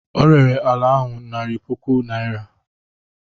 O rere ala ahụ narị puku naira.